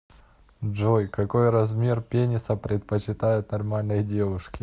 джой какой размер пениса предпочитают нормальные девушки